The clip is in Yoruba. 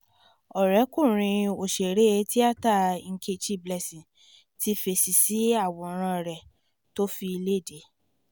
ọ̀rẹ́kùnrin òṣèré tíátà nkechi blessing ti fèsì sí àwòrán rẹ̀ tó fi léde